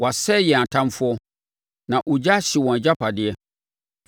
‘Wɔasɛe yɛn atamfoɔ, na ogya ahye wɔn agyapadeɛ.’